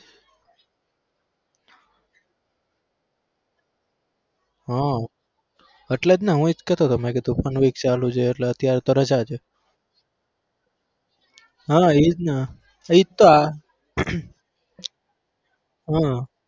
હા એટલે જ ને હું ઈ જ કેતો તો મેં કીધું fun week ચાલુ છે અત્યારે તો રજા છે ના ના ઈ જ ને ઈ જ તો હ